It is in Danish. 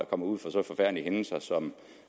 kommer ud for så forfærdelige hændelser som